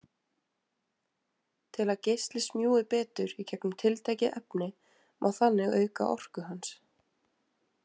Til að geisli smjúgi betur í gegnum tiltekið efni má þannig auka orku hans.